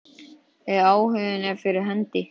Ef áhuginn er fyrir hendi.